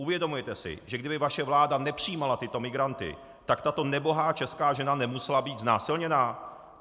Uvědomujete si, že kdyby vaše vláda nepřijímala tyto migranty, tak tato nebohá česká žena nemusela být znásilněna?